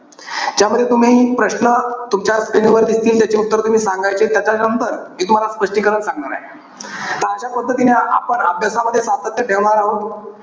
ज्यामध्ये तुम्ही प्रश्न तुमच्या screen वर दिसतील त्याचे उत्तर तुम्ही सांगायचे. त्याच्यानंतर मी तुम्हाला स्पष्टीकरण सांगणार आहे. त अशा पद्धतीने आपण अभ्यासामध्ये सातत्य ठेवणार आहे.